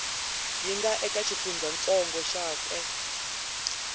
yi nga eka xifundzantsongo xakwe